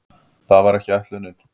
Það var ekki ætlunin.